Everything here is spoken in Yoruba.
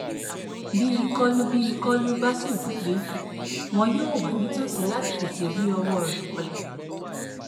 bí ìkọlù bí ìkọlù bá sì wáyé wọn yóò wà nítòsí láti tètè ri ọwọ rẹ bọlẹ